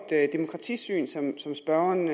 demokratisyn som spørgeren